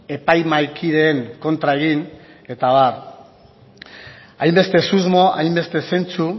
epaimahaikideen kontra egin eta abar hainbeste susmo hainbeste zentzu